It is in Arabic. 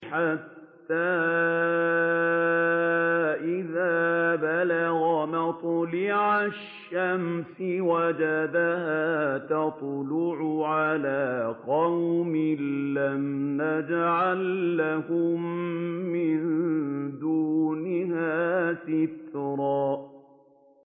حَتَّىٰ إِذَا بَلَغَ مَطْلِعَ الشَّمْسِ وَجَدَهَا تَطْلُعُ عَلَىٰ قَوْمٍ لَّمْ نَجْعَل لَّهُم مِّن دُونِهَا سِتْرًا